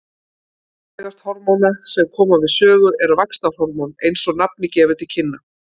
Mikilvægast hormóna sem koma við sögu er vaxtarhormón eins og nafnið gefur til kynna.